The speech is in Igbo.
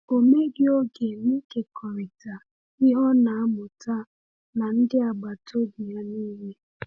Ọ meghị oge n’ịkekọrịta ihe ọ na-amụta na ndị agbata obi ya niile.